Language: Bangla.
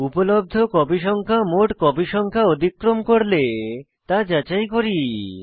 উপলব্ধ কপি সংখ্যা মোট কপি সংখ্যা অতিক্রম করলে তা যাচাই করি